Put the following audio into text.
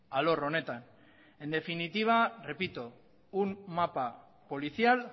alor honetan en definitiva repito un mapa policial